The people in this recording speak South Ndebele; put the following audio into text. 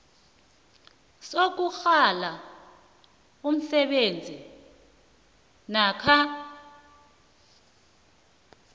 sokunghala umsebenzi namkha